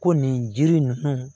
Ko nin jiri ninnu